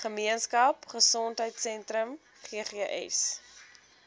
gemeenskap gesondheidsentrum ggs